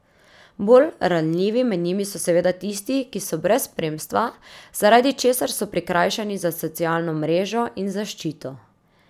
Bolj ranljivi med njimi so seveda tisti, ki so brez spremstva, zaradi česar so prikrajšani za socialno mrežo in zaščito.